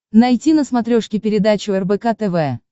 найти на смотрешке передачу рбк тв